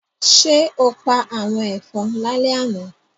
Ṣé o pa àwọn ẹ̀fọn lálẹ́ àná?